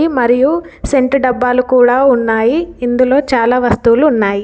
మరియు సెంటు డబ్బాలు కూడా ఉన్నాయి. ఇందులో చాలా వస్తువులు ఉన్నాయి.